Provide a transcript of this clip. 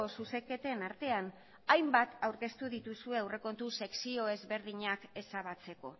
zuzenketen artean hainbat aurkeztu dituzue aurrekontu sekzio ezberdinak ezabatzeko